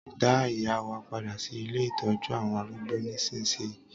Dá ìyá wa padà sí ilé Ìtọ́jú àwọn arúgbó nísinsìnyí.